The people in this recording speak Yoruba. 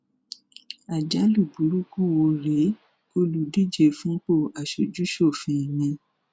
àjálù burúkú wo rèé olùdíje fúnpọ aṣojúṣòfin mi